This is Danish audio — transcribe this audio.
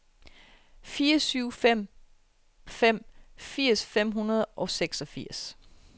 fire syv fem fem firs fem hundrede og seksogfirs